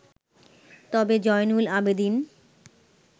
তবে জয়নুল আবেদিন